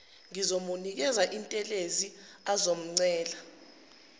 ngizomnikeza intelezi azochela